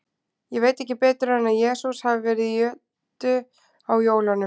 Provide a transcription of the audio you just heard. Ég veit ekki betur en að Jesús hafi verið í jötu á jólunum.